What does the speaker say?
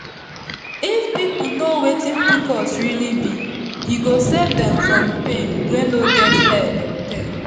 if people know wetin pcos really be e go save dem from pain wey no get head or tail